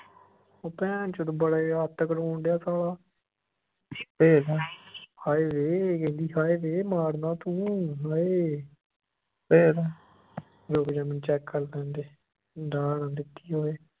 ਉਹ ਭੈਨਚੋ ਬੜਾ ਅੱਤ ਕਰਾਉਣ ਢਯਾ ਸਾਲਾ ਭੇਜਦਾ ਹਏ ਵੇ ਹਏ ਵੇ ਕਹਿੰਦੀ ਮਾਰਨਾ ਤੂੰ ਹਏ ਭੇਜਦੇਂ ਰੁਕ ਜਾ ਮੈਨੂੰ check ਕਰ ਲੈਣ ਦੇ ਢਾਅ ਨਾ ਦਿੱਤੀ ਹੋਵੇ